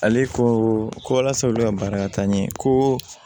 Ale ko ko walasa olu ka baara ka taa ɲɛ ko